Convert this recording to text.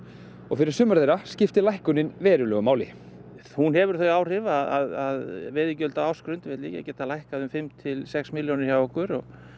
og fyrir sumar þeirra skiptir lækkunin verulegu máli hún hefur þau áhrif að veiðigjöld á ársgrundvelli geta lækkað um fimm til sex milljónir hjá okkur